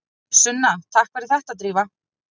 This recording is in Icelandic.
Sunna: Takk fyrir þetta Drífa.